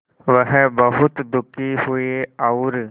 वह बहुत दुखी हुए और